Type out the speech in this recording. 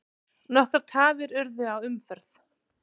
Nokkrar tafir urðu á umferð.